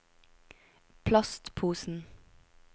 plastposen